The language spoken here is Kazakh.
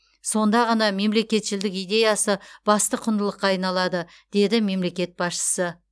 сонда ғана мемлекетшілдік идеясы басты құндылыққа айналады деді мемлекет басшысы